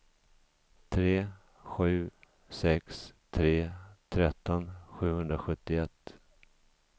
tre sju sex tre tretton sjuhundrasjuttioett